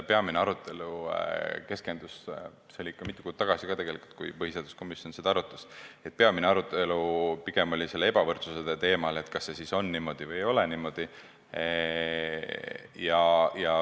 Peamine arutelu keskendus – see oli ikka mitu kuud tagasi, kui põhiseaduskomisjon seda arutas – pigem ebavõrdsuse teemale, et kas on niimoodi või ei ole niimoodi.